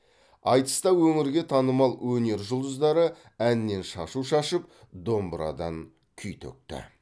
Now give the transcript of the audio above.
айтыста өңірге танымал өнер жұлдыздары әннен шашу шашып домбырадан күй төкті